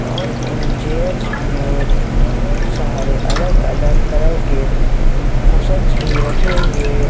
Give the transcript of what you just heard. और उन चेयर्स में बहुत सारे अलग अलग कलर के कुशन्स भी रखे हुए--